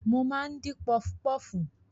Mo máa ń dín pọfupọfu.